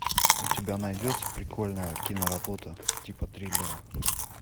у тебя найдется прикольная киноработа типа триллера